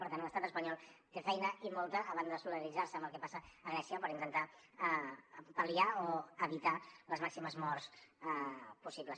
per tant l’estat espanyol té feina i molta a banda de solidaritzar se amb el que passa a grècia per intentar pal·liar o evitar les màximes morts possibles